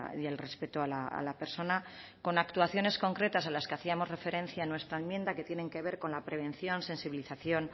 y el respeto a la persona con actuaciones concretas a las que hacíamos referencia en nuestra enmienda que tienen que ver con la prevención sensibilización